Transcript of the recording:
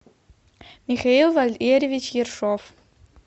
михаил валерьевич ершов